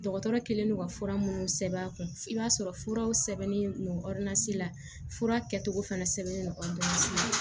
Dɔgɔtɔrɔ kɛlen don ka fura minnu sɛbɛn a kun i b'a sɔrɔ furaw sɛbɛnnen don la fura kɛcogo fana sɛbɛnlen don